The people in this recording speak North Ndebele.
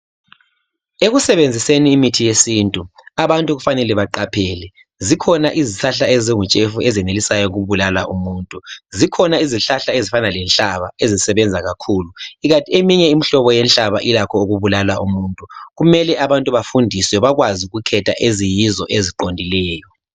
Ekusebenziseni imithi yesintu abantu kumele baqaphele zikhona izihlahla ezingutshefu ezenelisa ukubulala umuntu, zikhona izihlahla ezifana lenhlaba ezisebenza kakhulu kanti eminye imihlobo yenhlaba ilakho ukubulala umuntu. Kumele abantu bafundiswe bakwazi ukukhetha eziyizo eziqondileyo.